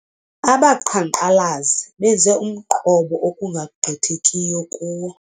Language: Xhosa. Abaqhankqalazi benze umqobo ekungagqithekiyo kuwo.